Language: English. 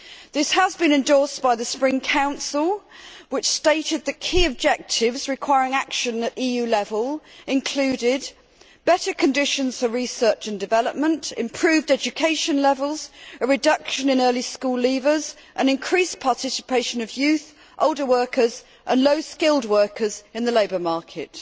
This has been endorsed by the Spring Council, which stated that key objectives requiring action at EU level included better conditions for research and development, improved education levels, a reduction in early school leavers and increased participation of youth, older workers and low skilled workers in the labour market.